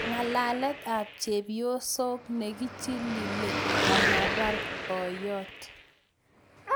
Ng'alalet ap chepyoso nekichililee amapar boiyot